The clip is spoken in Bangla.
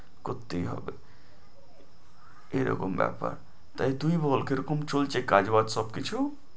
করতেই হবে, এরকম ব্যাপার তাই তুই বল কে রকম চলছে, কাজ বাজ সবকিছু?